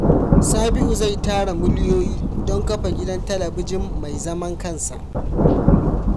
Sabiu zai tara miliyoyi don kafa gidan talabijin mai zaman kansa.